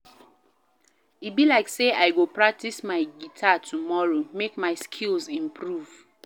E be like sey I go practice my guitar tomorrow make my skills improve.